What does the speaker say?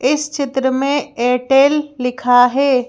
इस चित्र में एयरटेल लिखा है।